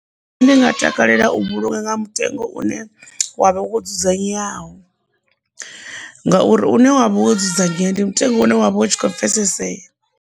Ndi nga takalela u vhulunga nga mutengo une wavha wo dzudzanyeaho ngauri une wavha wo dzudzanyea ndi mutengo une wavha u tshi kho pfhesesea.